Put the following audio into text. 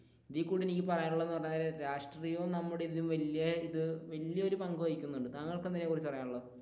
ഇതിൽ കൂടി എനിക്ക് പറയാനുള്ളത് എന്ന് പറയാൻ നേരം രാഷ്ട്രീയാവും നമ്മുടെ ഇതും വല്യ ഇത് വല്യ ഒരു പങ്ക് വഹിക്കുന്നുണ്ട് താങ്കൾക്ക് എന്താണ് പറയാനുള്ളത്?